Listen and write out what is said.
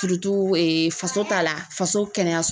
faso ta la faso kɛnɛyaso.